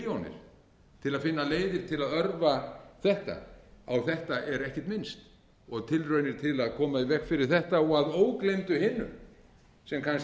milljónir til að finna leiðir til að örva þetta á þetta er ekkert minnst og á tilraunir til að koma í veg fyrir þetta og að ógleymdu hinu sem kannski